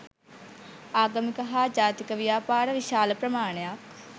ආගමික හා ජාතික ව්‍යාපාර විශාල ප්‍රමාණයක්